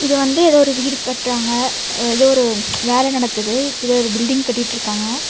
இது வந்து எதோ ஒரு வீடு கட்ராங்க எதோ ஒரு வேல நடக்குது இது ஒரு பில்டிங் கட்டிட்டிருக்காங்க.